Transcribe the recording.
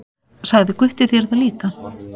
Sagði Gutti þér það líka?